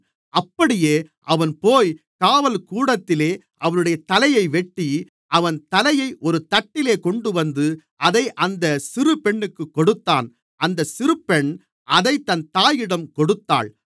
அப்படியே அவன்போய் காவல்கூடத்திலே அவனுடைய தலையை வெட்டி அவன் தலையை ஒரு தட்டிலே கொண்டுவந்து அதை அந்தச் சிறு பெண்ணுக்குக் கொடுத்தான் அந்தச் சிறுபெண் அதைத் தன் தாயிடம் கொடுத்தாள்